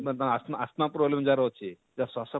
asthma asthma problem ଯାହାର ଅଛେ ଯାହାର ସ୍ୱାସ